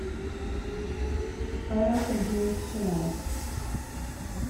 павел сергеевич чинаев